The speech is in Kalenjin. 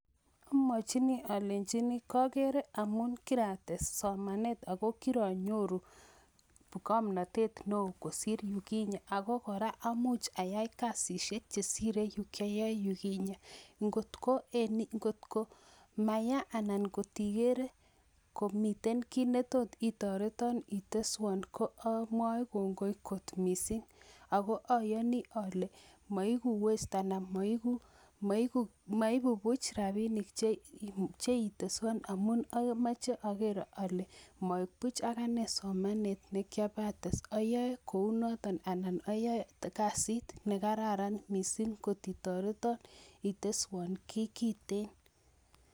Amwonjini alenjini kagere amun kirates somanet aku kiranyoru ng'omnatet neoo kosir yukinye ako kora amuch ayai kasishek che sire yu kiyae yukinye, ngotko maya anan ngotigere komiten kiit ne tot itoriton iteswon ko amwoe kongoi kot mising aku ayoni ole maiku waste anan maiku buch rabinik che iteswon amuch agere ale mabuch anane somanet ne kiabates, ayae kou noton anan ayae kasit ne kararan mising kot itoriton iteswon kiy kiten.